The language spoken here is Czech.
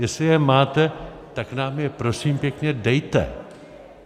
Jestli je máte, tak nám je prosím pěkně dejte.